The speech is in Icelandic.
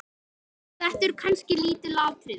Þetta eru kannski lítil atriði.